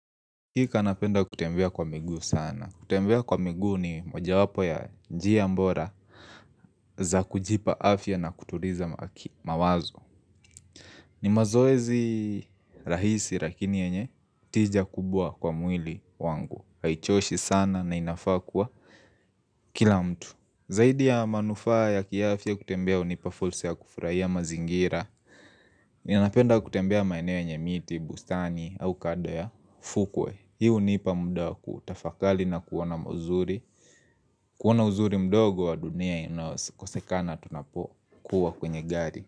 Kanapenda kutembea kwa miguu sana. Kutembea kwa miguu ni mojawapo ya njia bora za kujipa afya na kutuliza mawazo. Ni mazoezi rahisi rakini yenye tija kubwa kwa mwili wangu. Haichoshi sana na inafaa kua kila mtu. Zaidi ya manufaa ya kiafya kutembea hunipa fursa ya kufurahia mazingira Ninapenda kutembea maeneo yenye miti, bustani au kando ya fukwe Hii hunipa muda wa kutafakali na kuona mazuri Kuona uzuri mdogo wa dunia inaokosekana tunapo kuwa kwenye gari.